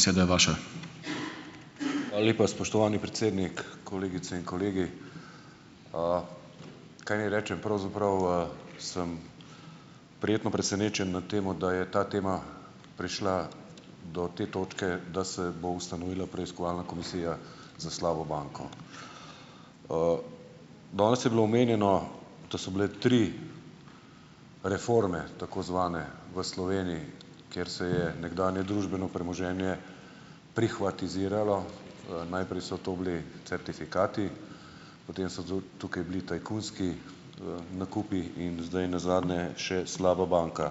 Beseda je vaša. Hvala lepa, spoštovani predsednik, kolegice in kolegi. Kaj naj rečem pravzaprav, sem prijetno presenečen nad tem, da je ta tema prišla do te točke, da se bo ustanovila preiskovalna komisija za slabo banko. Danes je bilo omenjeno, da so bile tri reforme tako zvane v Sloveniji, ker se je nekdanje družbeno premoženje prihvatiziralo. najprej so to bili certifikati, potem so tukaj bili tajkunski, nakupi in zdaj nazadnje še slaba banka.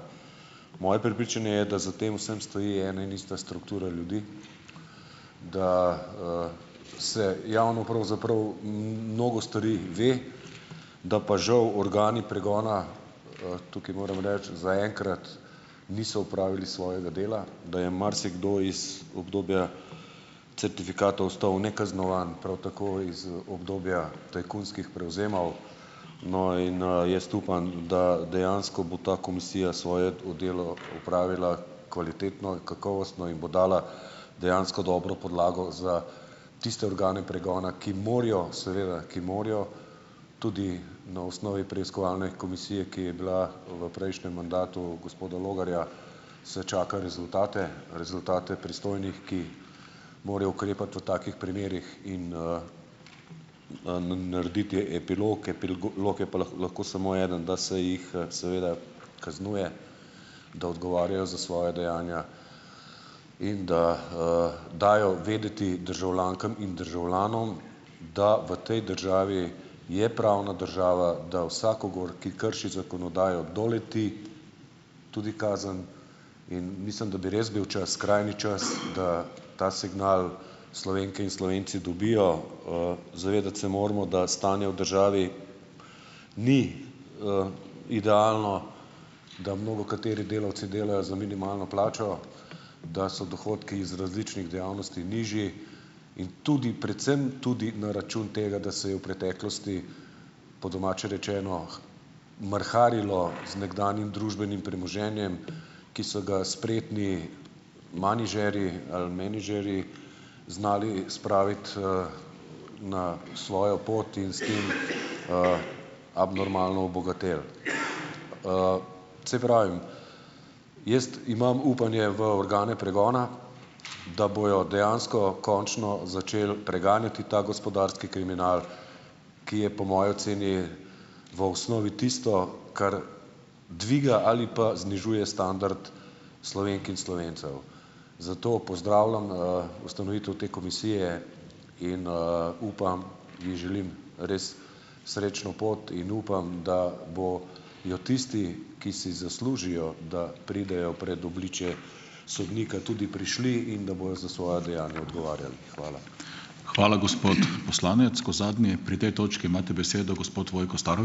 Moje prepričanje je, da za tem vsem stoji ena in ista struktura ljudi, da, vse javno pravzaprav mnogo stvari ve, da pa žal organi pregona, tukaj moram reči zaenkrat, niso opravili svojega dela, da je marsikdo iz obdobja certifikatov ostal nekaznovan, prav tako iz obdobja tajkunskih prevzemov, no, in, jaz upam, da dejansko bo ta komisija svoje delo opravila kvalitetno in kakovostno in bo dala dejansko dobro podlago za tiste organe pregona, ki morajo seveda, ki morajo tudi na osnovi preiskovalne komisije, ki je bila v prejšnjem mandatu gospoda Logarja, se čaka rezultate, rezultate pristojnih, ki morajo ukrepati v takih primerih in, narediti epilog je pa lahko eden, da se jih seveda kaznuje, da odgovarjajo za svoja dejanja in da, dajo vedeti državljankam in državljanom, da v tej državi je pravna država, da vsakogar, ki krši zakonodajo, doleti tudi kazen, in mislim, da bi res bil čas, skrajni čas, da ta signal Slovenke in Slovenci dobijo. zavedati se moramo, da stanje v državi ni, idealno, da mnogokateri delavci delajo za minimalno plačo, da so dohodki iz različnih dejavnosti nižji in tudi, predvsem tudi na račun tega, da se je v preteklosti, po domače rečeno, mrharilo z nekdanjim družbenim premoženjem, ki so ga spretni menedžerji ali menedžerji, znali spraviti, na svojo pot iz in, abnormalno obogateli. saj pravim, jaz imam upanje v organe pregona, da bojo dejansko končno začeli preganjati ta gospodarski kriminal, ki je po moji oceni v osnovi tisto, kar dviga ali pa znižuje standard Slovenk in Slovencev. Zato pozdravljam, ustanovitev te komisije in, upam in želim res srečno pot in upam, da bojo tisti, ki si zaslužijo, da pridejo pred obličje sodnika, tudi prišli, in da bojo za svoja dejanja odgovarjali. Hvala. Hvala, gospod poslanec. Kot zadnji pri tej točki imate besedo gospod Vojko ...